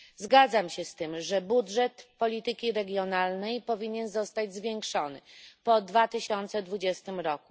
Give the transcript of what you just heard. Zgadzam się z tym, że budżet polityki regionalnej powinien zostać zwiększony po 2020 r.